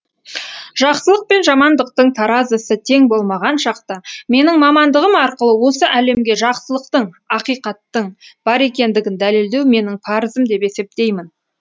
жақсылық пен жамандықтың таразысы тең болмаған шақта менің мамандығым арқылы осы әлемге жақсылықтың ақиқаттың бар екендігін дәлелдеу менің парызым деп есептеймін